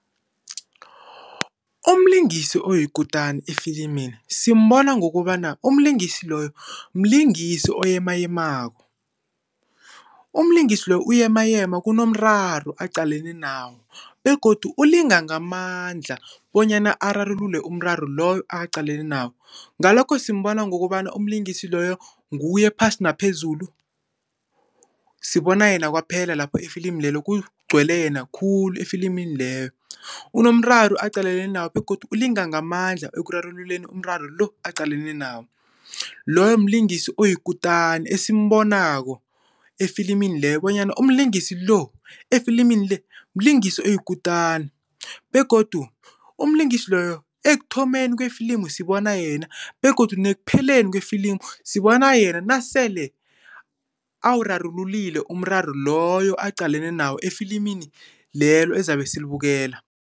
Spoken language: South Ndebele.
Umlingisi oyikutani efilimini simbona ngokobana umlingisi loyo, mlingisi oyemayemako. Umlingisi loyo uyemayema nje kunomraro aqalene nawo begodu ulinga ngamandla bonyana ararulule umraro loyo aqaleni nawo. Ngalokho simbona ngokobana umlingisi loyo nguye phasi naphezulu, sibona yena kwaphela lapho efilimini lelo kugcwele yena khulu efilimini lelo. Kunomraro aqalene nawo begodu ulinga ngamandla ekurarululeni umraro lo aqalene nawo. Loyo mlingisi oyikutani esimbonako efilimini lelo bonyana umlingisi lo, efilimini le mlingisi oyikutani begodu umlingisi loyo ekuthomeni kwefilimu sibona yena begodu nekupheleni kwefilimu sibona yena, nasele awurarululile umraro loyo aqalene nawo efilimini lelo ezabe silibukela.